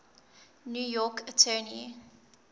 new york attorney